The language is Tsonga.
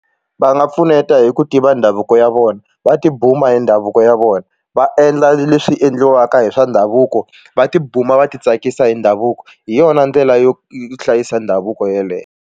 Va nga pfuneta hi ku tiva ndhavuko ya vona va tibuma hi ndhavuko ya vona va endla leswi endliwaka hi swa ndhavuko va tibuma va titsakisa hi ndhavuko hi yona ndlela yo hlayisa ndhavuko yeleyo.